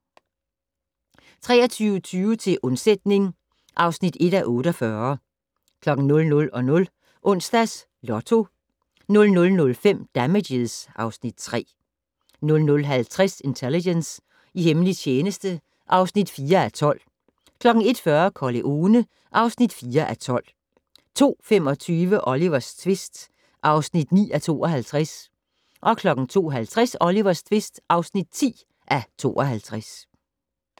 23:20: Til undsætning (1:48) 00:00: Onsdags Lotto 00:05: Damages (Afs. 3) 00:50: Intelligence - i hemmelig tjeneste (4:12) 01:40: Corleone (4:12) 02:25: Olivers tvist (9:52) 02:50: Olivers tvist (10:52)